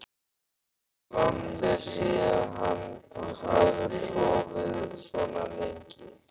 Langt er síðan hann hefur sofið svona lengi.